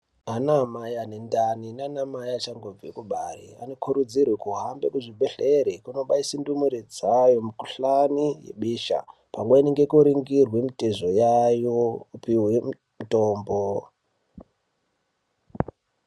Ana amai anendani nanamai anenge achangobve kubare anokurudzirwe kutohambe kuzvibhedhlere Kundobaise ndumure dzayo mikuhlani yebesha. Pamweni nekuringirwe mitezo yayo nekupihwe mitombo.